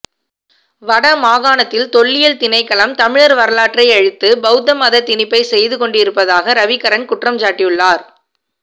வடமாகாணத்தில் தொல்லியல் திணைக்களம் தமிழர் வரலாற்றை அழித்து பௌத்த மதத் திணிப்பை செய்து கொண்டிருப்பதாக ரவிகரன் குற்றஞ்சாட்டியுள்ளார்